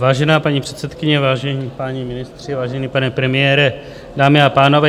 Vážená paní předsedkyně, vážení páni ministři, vážený pane premiére, dámy a pánové.